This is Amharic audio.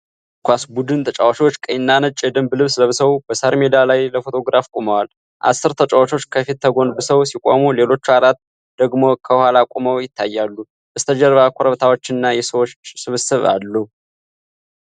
የእግር ኳስ ቡድን ተጫዋቾች ቀይና ነጭ የደንብ ልብስ ለብሰው፣ በሣር ሜዳ ላይ ለፎቶግራፍ ቆመዋል። አስር ተጫዋቾች ከፊት ተጎንብሰው ሲቆሙ፣ ሌሎች አራት ደግሞ ከኋላ ቆመው ይታያሉ። በስተጀርባ ኮረብታዎችና የሰዎች ስብስብ አለ።